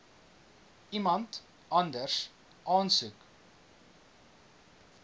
iemand anders aansoek